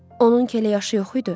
Onun elə yaşı yox idi?